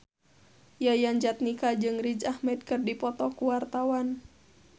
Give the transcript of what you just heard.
Yayan Jatnika jeung Riz Ahmed keur dipoto ku wartawan